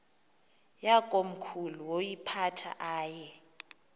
yakomkhulu woyiphatha aye